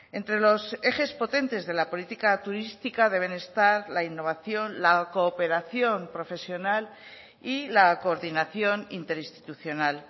entre los ejes potentes de la política turística deben estar la innovación la cooperación profesional y la coordinación interinstitucional